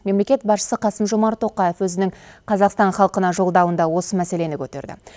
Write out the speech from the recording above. мемлекет басшысы қасым жомарт тоқаев өзінің қазақстан халқына жолдауында осы мәселені көтерді